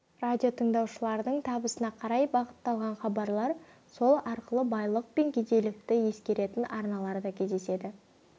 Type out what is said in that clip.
радиотыңдаушылардың табысына қарай бағытталған хабарлар сол арқылы байлық пен кедейлікті ескеретін арналар да кездеседі